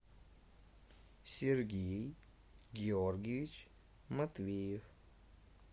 сергей георгиевич матвеев